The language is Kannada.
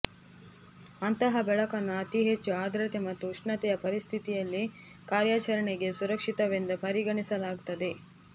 ಅಂತಹ ಬೆಳಕನ್ನು ಅತಿ ಹೆಚ್ಚು ಆರ್ದ್ರತೆ ಮತ್ತು ಉಷ್ಣತೆಯ ಪರಿಸ್ಥಿತಿಯಲ್ಲಿ ಕಾರ್ಯಾಚರಣೆಗೆ ಸುರಕ್ಷಿತವೆಂದು ಪರಿಗಣಿಸಲಾಗುತ್ತದೆ